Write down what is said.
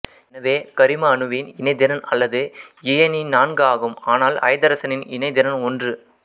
எனவே கரிம அணுவின் இணைதிறன் அல்லது இயைனி நான்கு ஆகும் ஆனால் ஐதரசனின் இணைதிறன் ஒன்று